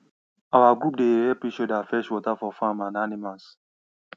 our group dey help each other fetch water for farm and animals